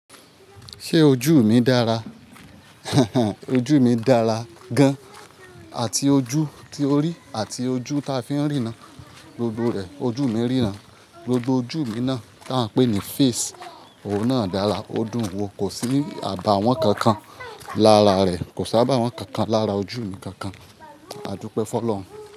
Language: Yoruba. Ṣé ojú mi dára? Ojú mi dára gan. Àti ojú tí o rí àti ojú ta fi ń rí ná. Gbogbo rẹ̀, ojú mi ríran. Gbogbo ojú mi náa tó a ń pè ní face, òun náà dára. Odùn wo kò sí ní àbàwón kankan lára rẹ. Kò sábà wọ́n kankan lára ojú mi kankan. Adúpẹ́ fọ́lọ̀run.